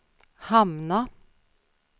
hamna